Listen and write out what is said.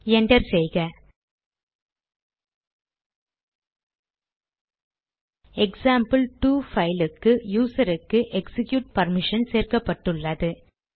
enter செய்க இப்போது எக்சாம்பிள்2 க்கு யூசருக்கு எக்சிக்யூட் பர்மிஷன் கொடுக்கப்பட்டுள்ளது